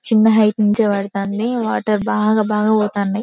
చిన్న హైట్ నుండే పడతానయ్ వాటర్ బాగా బాగా పోతనయ్ .